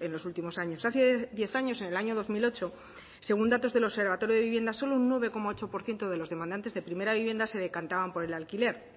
en los últimos años hace diez años en el año dos mil ocho según datos del observatorio de vivienda solo un nueve coma ocho por ciento de los demandantes de primera vivienda se decantaban por el alquiler